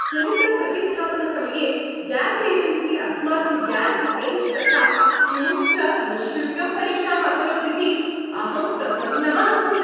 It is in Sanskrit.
सिलिण्डर् प्रतिस्थापनसमये ग्यास् एजेन्सी अस्माकं ग्यास् रेञ्ज् तथा ट्यूब् च निश्शुल्कं परीक्षाम् अकरोदिति अहं प्रसन्नः अस्मि।